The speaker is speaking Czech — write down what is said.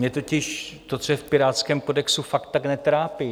Mě totiž to, co je v pirátském kodexu, fakt tak netrápí.